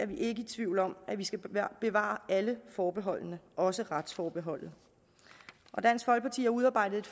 vi ikke i tvivl om at vi skal bevare alle forbeholdene også retsforbeholdet dansk folkeparti har udarbejdet